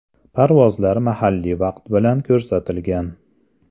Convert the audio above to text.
Parvozlar mahalliy vaqt bilan ko‘rsatilgan.